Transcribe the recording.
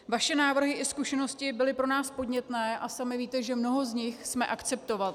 Vaše návrhy i zkušenosti byly pro nás podnětné a sami víte, že mnoho z nich jsme akceptovali.